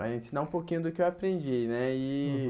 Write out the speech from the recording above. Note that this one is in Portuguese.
a ensinar um pouquinho do que eu aprendi, né? Uhum E